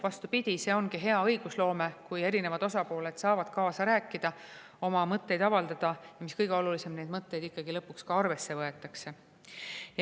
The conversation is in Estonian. Vastupidi, see ongi hea õigusloome, kui erinevad osapooled saavad kaasa rääkida, oma mõtteid avaldada, ja mis kõige olulisem, neid mõtteid ikkagi lõpuks ka arvesse võetakse.